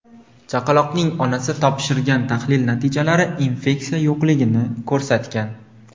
Chaqaloqning onasi topshirgan tahlil natijalari infeksiya yo‘qligini ko‘rsatgan.